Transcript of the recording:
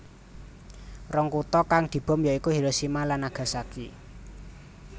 Rong kutha kang dibom ya iku Hiroshima lan Nagasaki